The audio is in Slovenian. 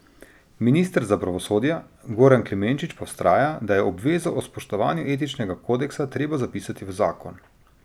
Minister za pravosodje Goran Klemenčič pa vztraja, da je obvezo o spoštovanju etičnega kodeksa treba zapisati v zakon.